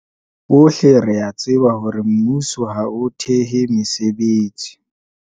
"Bohle re a tseba hore mmuso ha o thehe mesebetsi."